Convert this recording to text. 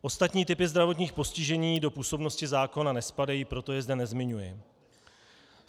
Ostatní typy zdravotních postižení do působnosti zákona nespadají, proto je zde nezmiňuji.